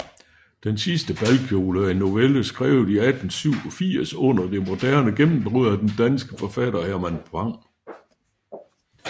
Den sidste balkjole er en novelle skrevet i 1887 under det moderne gennembrud af den danske forfatter Herman Bang